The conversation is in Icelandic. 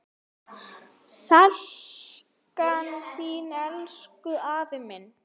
Sakna þín, elsku afi minn.